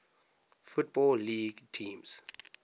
football league teams